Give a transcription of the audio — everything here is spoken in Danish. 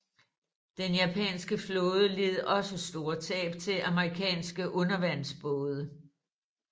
Den japanske flåde led også store tab til amerikanske undervandsbåde